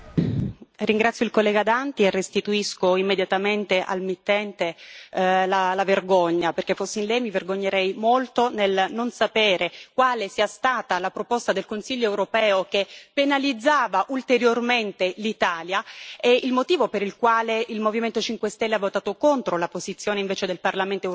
Ringrazio il collega Danti e restituisco immediatamente al mittente la vergogna, perché fossi in lei mi vergognerei molto nel non sapere quale sia stata la proposta del Consiglio europeo che penalizzava ulteriormente l'Italia e il motivo per il quale il Movimento 5 Stelle ha votato contro la posizione invece del Parlamento europeo.